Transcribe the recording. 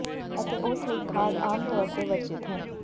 ਅਤੇ ਉਸ ਲਈ ਖਾਦ ਆਮ ਤੌਰ ਤੇ ਵਰਜਿਤ ਹੈ